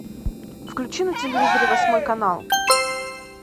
включи на телевизоре восьмой канал